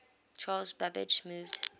charles babbage moved